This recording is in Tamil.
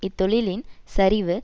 இத்தொழிலின் சரிவு